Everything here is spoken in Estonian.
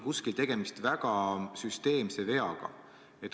Kuskil on tegemist väga süsteemse veaga.